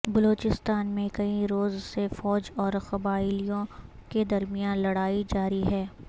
بلوچستان میں کئی روز سے فوج اور قبائلیوں کے درمیان لڑائی جاری ہے